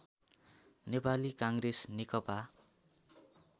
Nepali Congress Nekapa